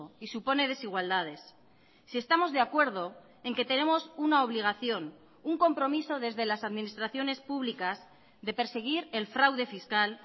y supone desigualdades si estamos de acuerdo en que tenemos una obligación un compromiso desde las administraciones públicas de perseguir el fraude fiscal